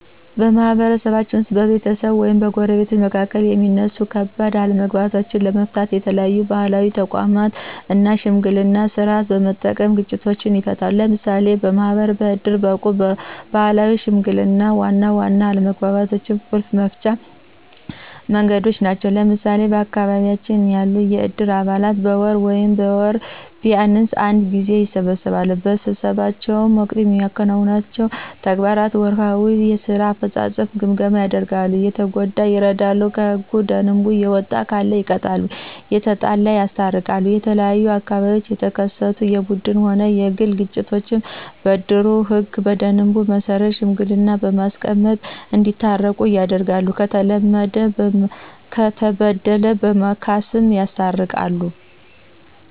በማህበረሰባችን ውስጥ በቤተሰቦች ወይም በጎረቤቶች መካከል የሚነሱ ከባድ አለመግባባቶችንለመፍታተት የተለያዩ ባህላዊ ተቋማትን እና የሽምግልና ስርዓትን በመጠቀም ግጭቶችን ይፈታሉ። ለምሳሌ ማህበር፣ ዕድር፣ ዕቁብና ባህላዊ ሽምግልና ዋና ዋና የአለመግባባቶች ቁልፍ መፍቻ መንገዶች ናቸው። ለምሳሌ በአካባቢያችን ያሉ የዕድር አባላት በየወሩ ወይም በወር ቢንስ አንድ ጊዜ ይሰበሰባሉ። በስብሰባቸው ወቅት የሚከውኗቸው ተግባራት ወርሃዊ የስራ አፈጻጸም ግምገማ ያደርጋሉ፣ የተጎዳ ይረዱ፣ ከህገ ደንቡ የወጣ ካለ ይቀጣሉ፣ የተጣላ ያስታርቃሉ። የተለያዩ በአካባቢው የተከሰቱ የቡድንም ሆነ የግለሰብ ግጭቶችን በእድሩ ህገ ደንብ መሰረት ሽማግሌ በማስመረጥ እዲያስታርቁ ያደርጋሉ፣ ለተበደሉ በማስካስ ያስታርቃሉ።